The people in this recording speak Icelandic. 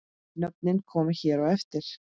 Nöfnin koma hér á eftir.